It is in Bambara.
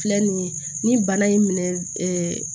Filɛ nin ye ni bana in minɛ